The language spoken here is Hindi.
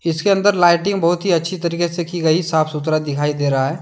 इसके अंदर लाइटिंग बहुत ही अच्छे तरीके से की गई साफ सुथरा दिखाई दे रहा है।